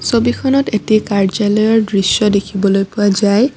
ছবিখনত এটি কাৰ্য্যালয়ৰ দৃশ্য দেখিবলৈ পোৱা যায়।